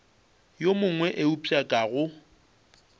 yo mongwe eupša ka go